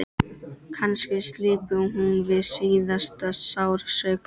Kannski slyppi hún við síðasta sársaukann.